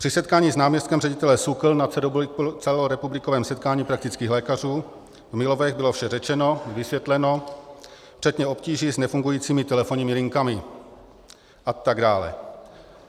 Při setkání s náměstkem ředitele SÚKLu na celorepublikovém setkání praktických lékařů v Milovech bylo vše řečeno, vysvětleno, včetně obtíží s nefungujícími telefonními linkami atd.